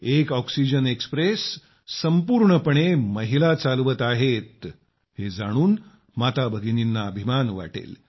एक oxygen express संपूर्णपणे महिला चालवित आहेत हे जाणून माताभगिनींना अभिमान वाटेल